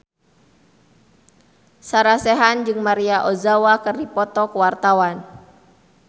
Sarah Sechan jeung Maria Ozawa keur dipoto ku wartawan